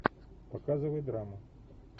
показывай драму